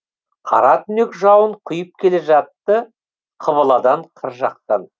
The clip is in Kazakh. қара түнек жауын құйып келе жатты қыбыладан қыр жақтан